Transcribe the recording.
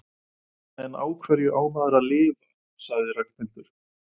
En á hverju á maður að lifa? sagði Ragnhildur.